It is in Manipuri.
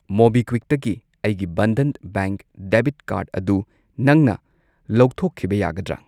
ꯃꯣꯕꯤꯀ꯭ꯋꯤꯛꯇꯒꯤ ꯑꯩꯒꯤ ꯕꯟꯙꯟ ꯕꯦꯡꯛ ꯗꯦꯕꯤꯠ ꯀꯥꯔꯗ ꯑꯗꯨ ꯅꯪꯅ ꯂꯧꯊꯣꯛꯈꯤꯕ ꯌꯥꯒꯗ꯭ꯔꯥ?